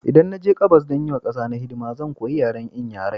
Idan na je gabas don yi wa ƙasa hidima, zan koya yaren Inyairai.